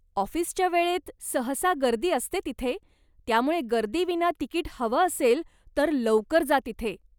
ऑफिसच्या वेळेत सहसा गर्दी असते तिथे, त्यामुळे गर्दीविना तिकीट हवं असेल तर लवकर जा तिथे.